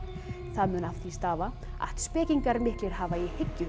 það mun af því stafa að spekingar miklir hafa í hyggju